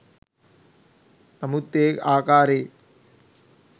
නමුත් ඒ ආකාරයේ